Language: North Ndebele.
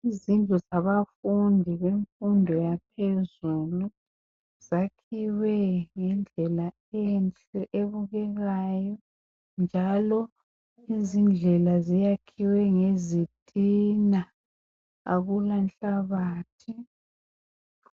Izindlu zabafundi bemfundo yaphezulu zakhiwe ngendlela enhle ebukekayo njalo izindlela ziyakhiwe ngezitina akulanhlabathi.